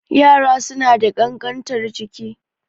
Yara suna da ƙankantar jiki